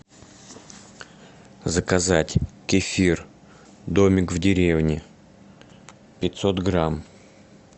заказать кефир домик в деревне пятьсот грамм